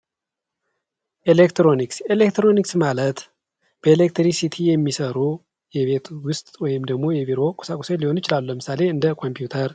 ኤሌክትሮኒክስ፤ ኤሌክትሮኒክስ ማለት በኤሌክትሪክሲቲ የሚሰሩ የቤት ውስጥ ወይም ደግሞ የቢሮ ቁሳቁሶች ሊሆን ይችላል። ለምሳሌ እንደ ኮምፒውተር